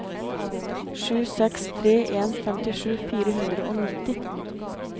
sju seks tre en femtisju fire hundre og nitti